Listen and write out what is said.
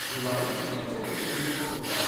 दिवाळी कित्याचें प्रतिनिधीत्व करता?